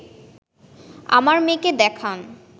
আমার মেয়েকে দেখান